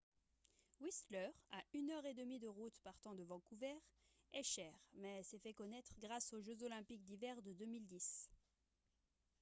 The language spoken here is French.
whistler à une heure et demi de route partant de vancouver est cher mais s'est fait connaître grâce aux jeux olympiques d'hiver de 2010